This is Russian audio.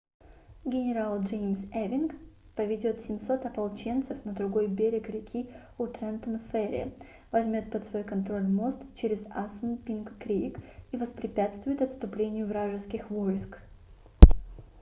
генерал джеймс эвинг james ewing поведет 700 ополченцев на другой берег реки у трентон-ферри возьмет под свой контроль мост через ассунпинк-крик и воспрепятствует отступлению вражеских войск